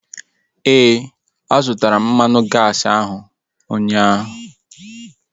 Ee, a zụtara m mmanụ gaasi ahu ụnyaahụ